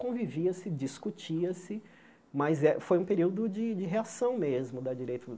Convivia-se, discutia-se, mas é foi um período de reação mesmo da direita.